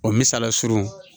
O misala surun